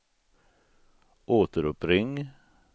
återuppring